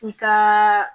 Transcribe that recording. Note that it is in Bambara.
I ka